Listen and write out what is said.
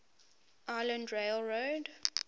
island rail road